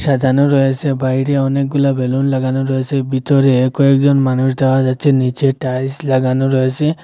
সাজানো রয়েসে বাইরে অনেকগুলা বেলুন লাগানো রয়েসে বিতরে কয়েকজন মানুষ দ্যাহা যাচ্ছে নীচে টাইলস লাগানো রয়েসে।